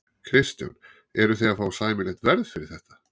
Kristján: Eruð þið að fá sæmilegt verð fyrir þetta?